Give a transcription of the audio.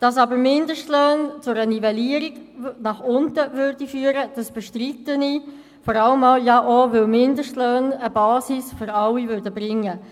Dass aber Mindestlöhne zu einer Nivellierung nach unten führten, bestreite ich vor allem auch, weil Mindestlöhne eine Basis für alle brächten.